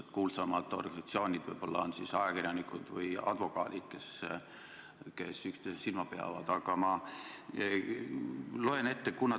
Tuntuimad organisatsioonid on ehk ajakirjanikud ja advokaadid, kes üksteisel silma peal hoiavad.